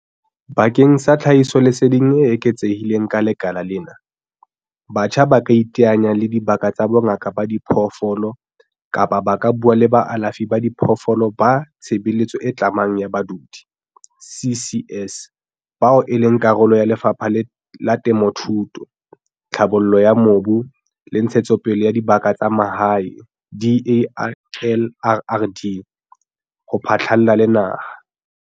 Bakeng sa tlhahisoleseding e eketsehileng ka lekala lena, batjha ba ka iteanya le dibaka tsa bongaka ba diphoofolo kapa ba ka bua le baalafi ba diphoofolo ba tshebeletso e tlamang ya badudi, CCS, bao e leng karolo ya Lefapha la Temothuo, Tlhabollo ya Mobu le Ntshetsopele ya Dibaka tsa Mahae, DALRRD ho phatlalla le naha.